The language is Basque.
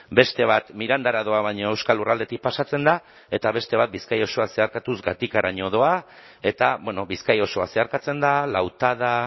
beste bat mirandara doa baina euskal lurraldetik pasatzen da eta beste bat bizkaia osoa zeharkatuz gatikaraino doa eta bizkaia osoa zeharkatzen da lautada